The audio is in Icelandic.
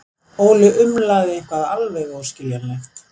Óli umlaði eitthvað alveg óskiljanlegt.